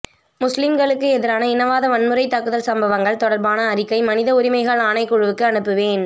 முஸ்லிம்களுக்கு எதிரான இனவாத வன்முறைத் தாக்குதல் சம்பவங்கள் தொடர்பான அறிக்கை மனித உரிமைகள் ஆணைக்குழுவுக்கு அனுப்புவேன்